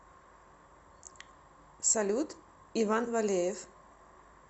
салют иван валеев